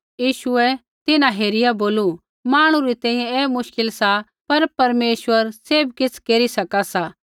यीशुऐ तिन्हां हेरिया बोलू मांहणु री तैंईंयैं ऐ मुश्किल सा पर परमेश्वर सैभ किछ़ केरी सका सा